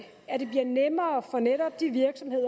at det bliver nemmere for netop de virksomheder